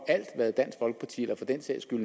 en